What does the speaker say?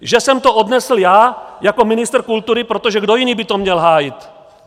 Že jsem to odnesl já jako ministr kultury - protože kdo jiný by to měl hájit?